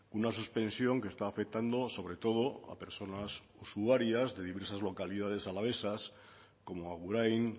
una suspensión que está afectando sobre todo a personas usuarias de diversas localidades alavesas como agurain